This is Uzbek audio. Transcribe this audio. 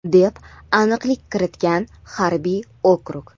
deb aniqlik kiritgan harbiy okrug.